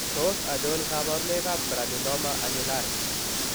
Tos achon kabarunaik ab granuloma annulare ?